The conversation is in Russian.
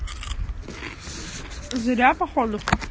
зря походу